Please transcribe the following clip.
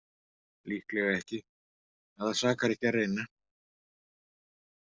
Líklega ekki, en það sakar ekki að reyna.